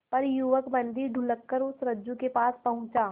पर युवक बंदी ढुलककर उस रज्जु के पास पहुंचा